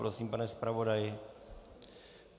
Prosím, pane zpravodaji.